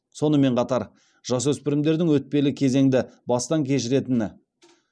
сонымен қатар жасөспірімдердің өтпелі кезеңді бастан кешіретіні